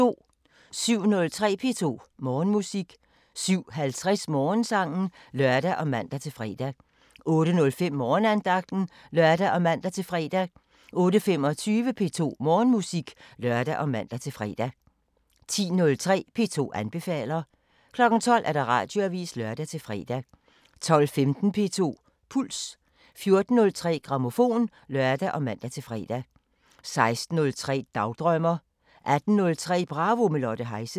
07:03: P2 Morgenmusik 07:50: Morgensangen (lør og man-fre) 08:05: Morgenandagten (lør og man-fre) 08:25: P2 Morgenmusik (lør og man-fre) 10:03: P2 anbefaler 12:00: Radioavisen (lør-fre) 12:15: P2 Puls 14:03: Grammofon (lør og man-fre) 16:03: Dagdrømmer 18:03: Bravo – med Lotte Heise